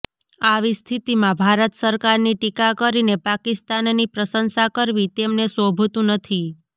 આવી સ્થિતિમાં ભારત સરકારની ટીકા કરીને પાકિસ્તાનની પ્રશંસા કરવી તેમને શોભતંુ નથી